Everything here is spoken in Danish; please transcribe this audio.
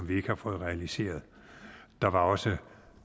vi ikke har fået realiseret der var også